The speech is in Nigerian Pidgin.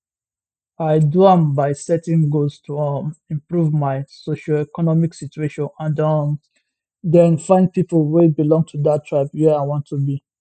i do am by setting goals to um improve my socioeconomic situation and um den find pipo wey belong to dat tribe where i wan to be